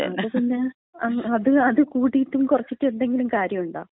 ന്നാപ്പിന്നെ അത് കൂട്ടിയിട്ടും കുറച്ചിട്ടും എന്തെങ്കിലും കാര്യണ്ടാ?